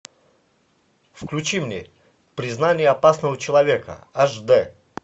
включи мне признание опасного человека аш дэ